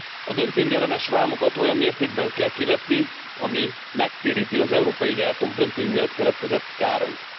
A dömpingellenes vámokat olyan mértékben kell kivetni, ami megtéríti az európai gyártók dömping miatt keletkezett kárait.